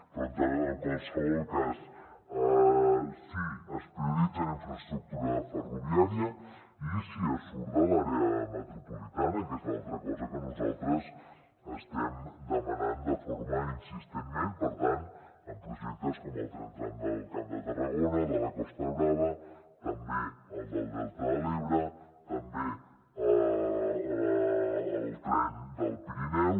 però en qualsevol cas si es prioritza en infraestructura ferroviària i si es surt de l’àrea metropolitana que és l’altra cosa que nosaltres estem demanant de forma insistent per tant en projectes com el tren tram del camp de tarragona de la costa brava també el del delta de l’ebre també el tren del pirineu